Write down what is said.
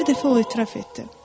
Bir dəfə o etiraf etdi.